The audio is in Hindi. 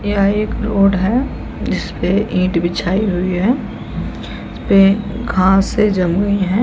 यह एक रोड है जिसपे ईट बिछाई हुई है जिसपे घाँसे जली हुई है।